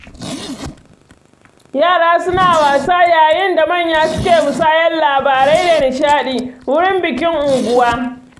Yara suna wasa yayin da manya suke musayar labarai da nishaɗi, wurin bikin unguwa.